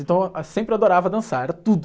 Então, sempre adorava dançar, era tudo.